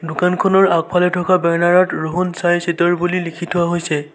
দোকানখনৰ আগফালে থকা বেনাৰ ত ৰুহন ছিটাৰ বুলি লিখি থোৱা হৈছে।